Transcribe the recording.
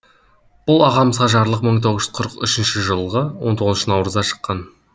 бұл ағамызға жарлық мың тоғыз жүз қырық үшінші жылғы он тоғызыншы наурызда шыққан